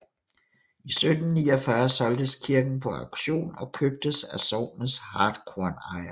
I 1749 solgtes kirken på auktion og købtes af sognets hartkornejere